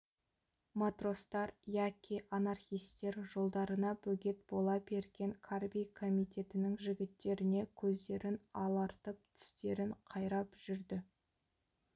матростар яки анархистер жолдарына бөгет бола берген карби комитетінің жігіттеріне көздерін алартып тістерін қайрап жүрді